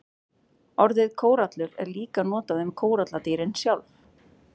Orðið kórallur er líka notað um kóralladýrin sjálf.